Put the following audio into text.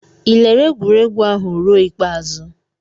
Ị lere egwuregwu ahụ ruo ikpeazụ?